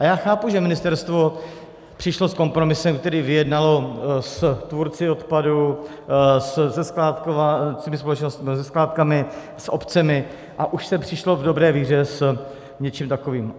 A já chápu, že ministerstvo přišlo s kompromisem, který vyjednalo s tvůrci odpadu, se skládkami, s obcemi, a už se přišlo v dobré víře s něčím takovým.